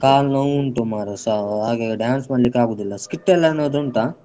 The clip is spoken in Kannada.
ಕಾಲ್ ನೋವುಂಟು ಮಾರೆ ಸಾವು ಹಾಗಾಗಿ dance ಮಾಡ್ಲಿಕ್ಕಾಗುದಿಲ್ಲ skit ಎಲ್ಲಾ ಏನಾದ್ರು ಉಂಟ?